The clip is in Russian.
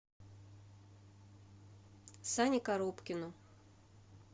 сане коробкину